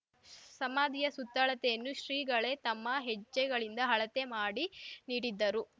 ಸಮಾಧಿಯ ಸುತ್ತಳತೆಯನ್ನು ಶ್ರೀಗಳೇ ತಮ್ಮ ಹೆಜ್ಜೆಗಳಿಂದ ಅಳತೆ ಮಾಡಿ ನೀಡಿದ್ದರು